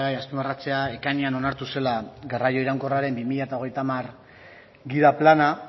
azpimarratzea ekainean onartu zela garraio iraunkorraren bi mila hogeita hamar gida plana